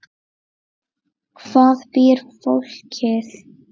Hvar býr fólkið?